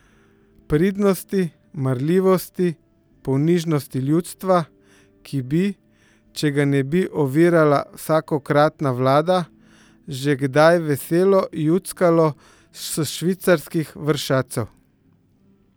Pridnosti, marljivosti, ponižnosti ljudstva, ki bi, če ga ne bi ovirala vsakokratna vlada, že kdaj veselo juckalo s švicarskih vršacev!